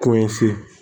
Ko in se